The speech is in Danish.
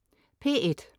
P1: